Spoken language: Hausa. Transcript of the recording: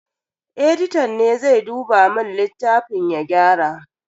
Editan ne zai duba mun littafin ya gyara.